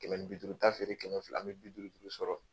Kɛmɛ ni bi duuru ta feere kɛmɛ fila, an bɛ bi duuru duuru sɔrɔ